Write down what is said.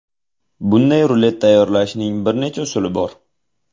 Bunday rulet tayyorlashning bir necha usuli bor.